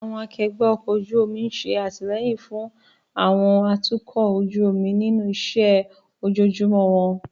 Àwọn akẹgbẹ́ ọkọ̀ ojú omi ń ṣe àtìlẹ́yìn fún àwọn atukọ̀ ojú omi nínú iṣẹ́ ojoojúmọ́ wọn.